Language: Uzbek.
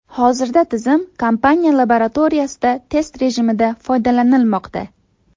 Hozirda tizim kompaniya laboratoriyasida test rejimida foydalanilmoqda.